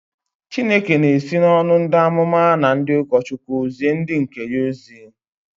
Chineke na-esi n'ọnụ ndị amụma na ndị ụkọchukwu zie ndị nke ya ozi.